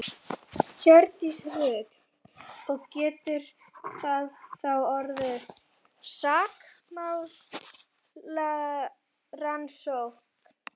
Hjördís Rut: Og getur það þá orðið sakamálarannsókn?